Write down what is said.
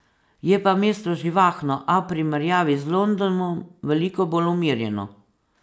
Je pa mesto živahno, a v primerjavi z Londonom veliko bolj umirjeno.